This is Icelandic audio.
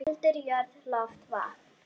Eldur, jörð, loft, vatn.